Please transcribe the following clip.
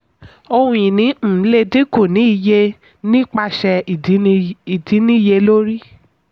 ohun-ìní um lè dínkù ní iye nípasẹ̀ ìdínníyelórí.